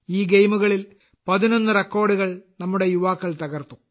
ഈ ഗെയിമുകളിൽ പതിനൊന്ന് റെക്കോർഡുകൾ നമ്മുടെ യുവാക്കൾ തകർത്തു